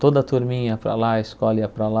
Toda turminha ia para lá, a escola ia para lá.